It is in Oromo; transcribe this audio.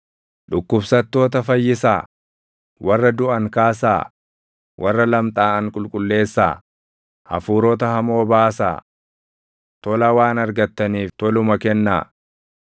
Dhukkubsattoota fayyisaa; warra duʼan kaasaa; warra lamxaaʼan qulqulleessaa; hafuurota hamoo baasaa. Tola waan argattaniif toluma kennaa.